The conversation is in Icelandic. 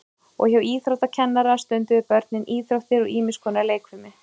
og hjá íþróttakennara stunduðu börnin íþróttir og ýmis konar leikfimi